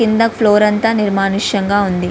కింద ఫ్లోర్ అంతా నిర్మానుష్యంగా ఉంది.